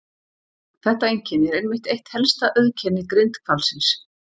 Þetta einkenni er einmitt eitt helsta auðkenni grindhvalsins.